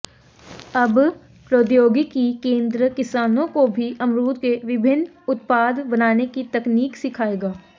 अब प्रौद्योगिकी केंद्र किसानों को भी अमरूद के विभिन्न उत्पाद बनाने की तकनीक सिखाएगा